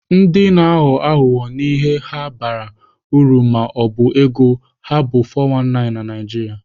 Ndị na-aghọ aghụghọ n'ihe ha bara uru ma ọ bụ ego ha bụ 419 na Naijiria.